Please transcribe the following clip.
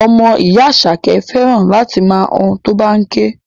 Ọmọ ìyá Àṣàkẹ́ fẹ́ràn láti máa han tó bá ń ké